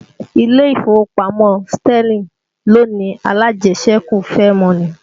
Ilé ìfowópamọ́ Sterling ló ni alájẹsẹ́kù Fairmoney